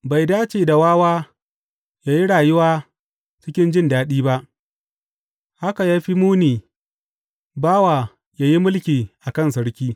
Bai dace da wawa ya yi rayuwa cikin jin daɗi ba, haka ya fi muni bawa ya yi mulki a kan sarki!